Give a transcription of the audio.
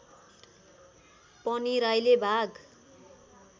पनि राईले भाग